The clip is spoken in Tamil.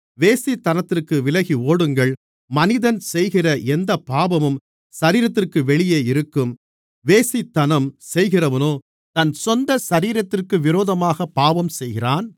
வேசித்தனத்திற்கு விலகி ஓடுங்கள் மனிதன் செய்கிற எந்தப் பாவமும் சரீரத்திற்கு வெளியே இருக்கும் வேசித்தனம் செய்கிறவனோ தன் சொந்த சரீரத்திற்கு விரோதமாகப் பாவம் செய்கிறான்